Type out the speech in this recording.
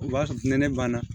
O b'a sɔrɔ ni ne banna